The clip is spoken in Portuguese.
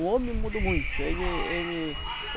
O homem mudou muito. Ele ele